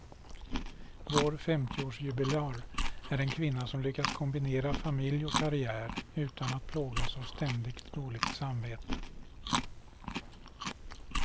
Vår femtioårsjubilar är en kvinna som lyckats kombinera familj och karriär utan att plågas av ständigt dåligt samvete.